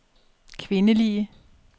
kvindelige